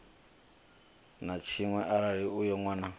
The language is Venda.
na tshiṅwe arali uyo nwana